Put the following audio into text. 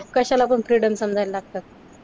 कशाला पण फ्रीडम समजाय लागतात.